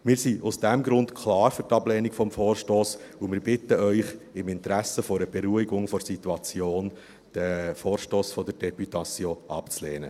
Wir sind aus diesem Grund klar für die Ablehnung des Vorstosses, und wir bitten Sie im Interesse einer Beruhigung der Situation, den Vorstoss der Deputation abzulehnen.